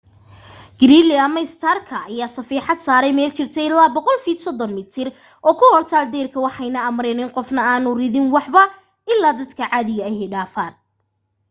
gridley ama starka ayaa safeexad saaray meel jirta ilaa 100 feet 30 m oo ku hortaal deyrka waxayna amreen in qofna aanu ridin waxba ilaa dadka caadiga ah dhaafaan